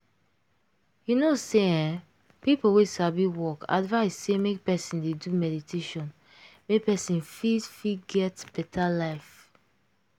you know say eeeh people wey sabi work advice say make person dey do meditation make person fit fit get better life.